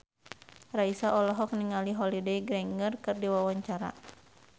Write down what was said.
Raisa olohok ningali Holliday Grainger keur diwawancara